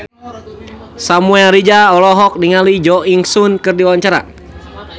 Samuel Rizal olohok ningali Jo In Sung keur diwawancara